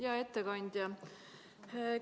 Hea ettekandja!